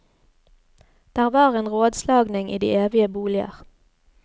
Der var en rådslagning i de evige boliger.